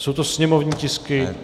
Jsou to sněmovní tisky...